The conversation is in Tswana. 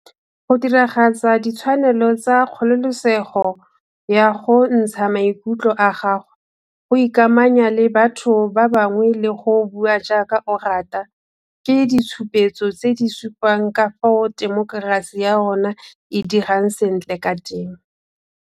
Go diragatsa ditshwanelo tsa kgololesego ya go ntsha maikutlo a gago, go ikamanya le batho ba bangwe le go bua jaaka o rata ke ditshupetso tse di supang ka fao temokerasi ya rona e dirang sentle ka teng.